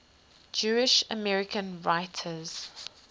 jewish american writers